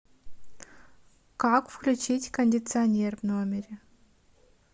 как включить кондиционер в номере